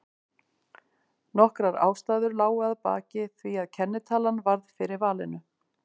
Nokkrar ástæður lágu að baki því að kennitalan varð fyrir valinu.